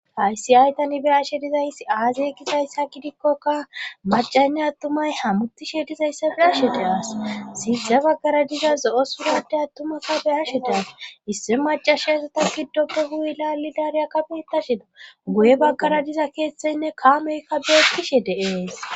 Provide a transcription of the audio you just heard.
aysi aytanibeyashe dizayssi aazey gizayssa gidikkoka macaynne attumay hammutishe dizayssa bilashe de7as siixe baggara diza zo7o surade attumaka beyashe deas isse macashe esata giddoppe guuy lali dariya kamettashin goye baggara diza keeththeynne kaameykka beettishe deees